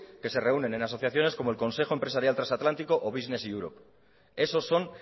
que reúnen en asociaciones como el consejo empresarial transatlántico o business europe esos son